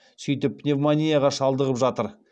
сөйтіп пневмонияға шалдығып жатыр